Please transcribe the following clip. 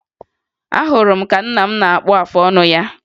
Ahụrụ m ka nna m na-akpụ afọ ọnụ ya